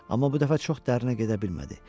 Amma bu dəfə çox dərinə gedə bilmədi.